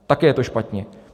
Také je to špatně.